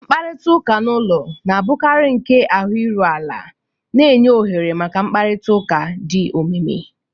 Mkparịta ụka n'ụlọ na-abụkarị nke ahụ iru ala, na-enye ohere maka mkparịta ụka do omimi